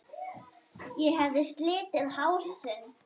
Ég hafði slitið hásin.